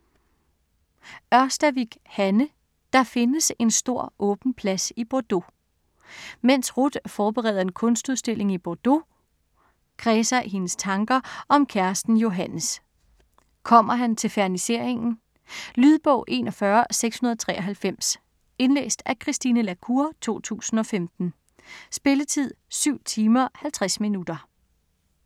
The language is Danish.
Ørstavik, Hanne: Der findes en stor åben plads i Bordeaux Mens Ruth forbereder en kunstudstilling i Bordeaux, kredser hendes tanker om kæresten Johannes. Kommer han til ferniseringen? Lydbog 41693 Indlæst af Christine la Cour, 2015. Spilletid: 7 timer, 50 minutter.